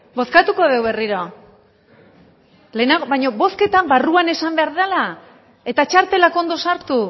bozkatuko dugu berriro baina bozketa barruan esan behar dela eta txartelak ondo sartu